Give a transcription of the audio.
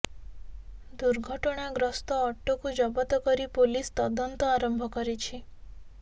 ଦୁର୍ଘଟଣାଗ୍ରସ୍ତ ଅଟୋକୁ ଜବତ କରି ପୋଲିସ ତଦନ୍ତ ଆରମ୍ଭ କରିଛି